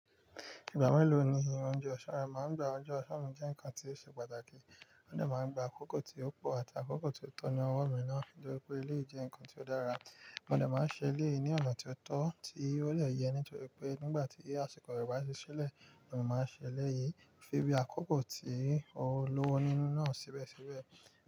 Ìgbà mélòó ni ounje ọ̀sán rẹ máa ń gba? Ọjọ́ ọ̀sán mi jẹ́ ǹkan tí ó ṣe pàtàkì, o de máa ń gba àkókò tí ó pọ̀ àti àkókò tí ó tọ́ ní ọwọ́ mi náà nítorí pé eleyi je ǹkan tí ó dára. Mo de máa ṣe eleyi ní ọ̀nà tí ó tọ́ tí ó de yẹ nítorí pé nígbà tí àsìkò rẹ̀ bá ti ṣílẹ̀, mo máa ṣẹlẹ̀ yìí fi bí àkókò tí ó lówó nínú náà síbẹ̀síbẹ̀